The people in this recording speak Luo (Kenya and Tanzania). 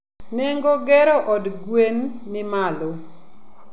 Nengo gero od gwen ni malo